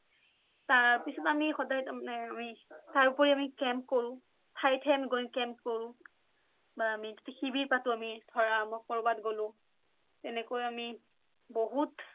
তাৰ পিছত আমি সদাই তাৰমানে আমি তাৰ উপৰি আমি কেম্প কৰোঁ কেম্প কৰোঁ বা আমি শিবিৰ পাটো আমি ধৰা মই কৰোবাত গোলো তেনেকুৱা আমি বহুত